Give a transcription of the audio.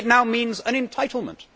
it now means an entitlement.